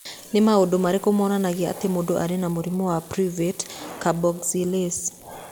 Nĩ maũndũ marĩkũ monanagia atĩ mũndũ arĩ na mũrimũ wa Pyruvate carboxylase?